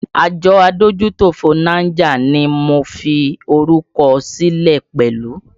Àjọ adójútòfò Niger ni mo fi orúkọ sílẹ̀ pẹ̀lú